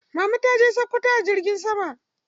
Mama taje sakkwato a cikin jirgi.